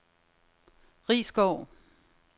Risskov